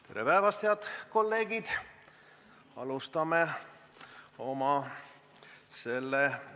Tere päevast, head kolleegid!